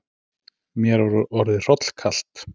Mér var orðið hrollkalt.